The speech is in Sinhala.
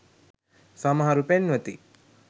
සමහරු පෙන්වති